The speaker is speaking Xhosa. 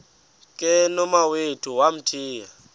ke nomawethu wamthiya